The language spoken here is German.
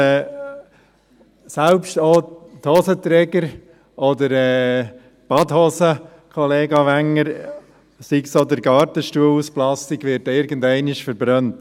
Selbst die Hosenträger oder die Badehosen, Kollega Wenger, oder sei es der Gartenstuhl aus Plastik – diese werden irgendwann verbrannt.